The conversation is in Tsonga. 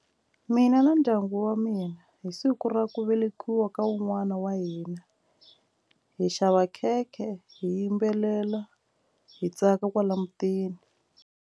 Mina na ndyangu wa mina hi siku ra ku velekiwa ka wun'wana wa hina hi xava khekhe hi yimbelela hi tsaka kwala mutini.